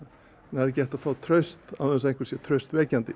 það er ekki hægt að fá traust án þess að einhver sé traustvekjandi